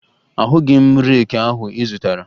Ahụghị m reeki ahụ ị zụtara